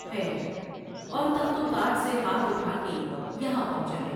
ہے اور تخت و تاج سے ہاتھ اٹھا کے یہاں پہنچا ہے ۔